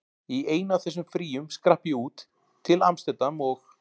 Í einu af þessum fríum skrapp ég út, til amsterdam og